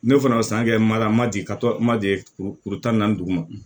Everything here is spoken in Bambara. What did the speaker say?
Ne fana bɛ san kɛ mariya ma di ka to ma di tan ni duguma